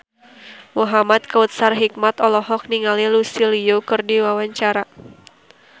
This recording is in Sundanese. Muhamad Kautsar Hikmat olohok ningali Lucy Liu keur diwawancara